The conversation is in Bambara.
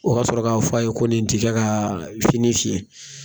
O ka sɔrɔ k'a fɔ a ye ko nin tɛ kɛ ka fini fiɲɛ.